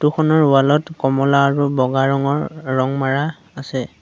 Photo খনৰ wall ত কমলা আৰু বগা ৰঙৰ ৰং মাৰা আছে।